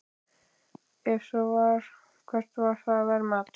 Ef svo var, hvert var það verðmat?